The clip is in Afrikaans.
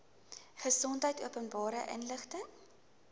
gesondheid openbare inligting